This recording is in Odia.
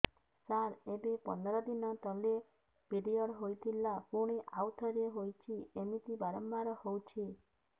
ସାର ଏବେ ପନ୍ଦର ଦିନ ତଳେ ପିରିଅଡ଼ ହୋଇଥିଲା ପୁଣି ଆଉଥରେ ହୋଇଛି ଏମିତି ବାରମ୍ବାର ହଉଛି